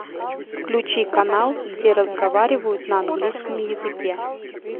включи канал где разговаривают на английском языке